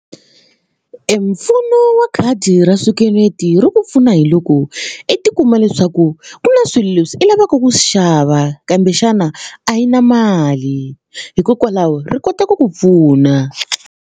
E mpfuno wa khadi ra swikweleti ru ku pfuna hi loko i tikuma leswaku ku na swilo leswi i lavaka ku swi xava kambe xana a yi na mali hikokwalaho ri kota ku ku pfuna.